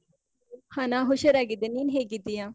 ಹಾ ನಾನ್ ಹುಷಾರಾಗಿದ್ದೇನೆ. ನೀನ್ ಹೇಗಿದ್ದೀಯಾ?